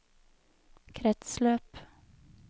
kretsløp